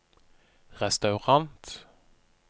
restaurant